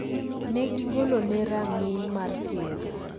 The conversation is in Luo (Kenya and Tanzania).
ne gigolone rang�iny mar Ker.